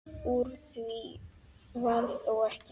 Úr því varð þó ekki.